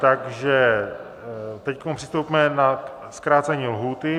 Takže teď přistoupíme na zkrácení lhůty.